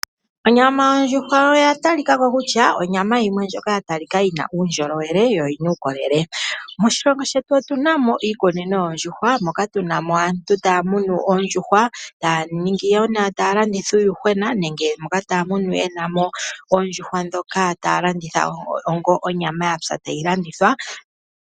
Onyama yondjuhwa oya talikako kutya onyama yimwe ndjoka ya talika yina uundjolowele yo yina uukolele. Moshilongo shetu otu namo iikunino yoOndjuhwa moka tu namo aantu taya munu Oondjuhwa, taya landitha uuyuhwena nenge moka taya munu ye namo oondjuhwa ndhoka taya landitha onga onyama yatsa ta yilandithwa.